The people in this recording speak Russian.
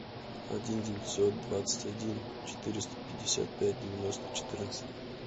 один девятьсот двадцать один четыреста пятьдесят пять девяносто четырнадцать